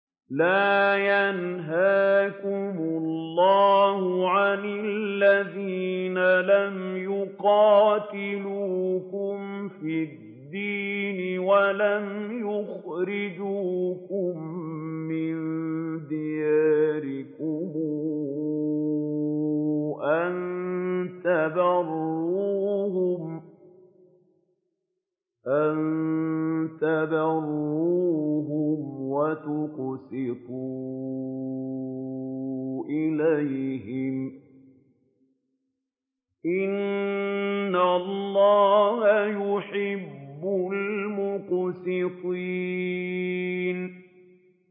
لَّا يَنْهَاكُمُ اللَّهُ عَنِ الَّذِينَ لَمْ يُقَاتِلُوكُمْ فِي الدِّينِ وَلَمْ يُخْرِجُوكُم مِّن دِيَارِكُمْ أَن تَبَرُّوهُمْ وَتُقْسِطُوا إِلَيْهِمْ ۚ إِنَّ اللَّهَ يُحِبُّ الْمُقْسِطِينَ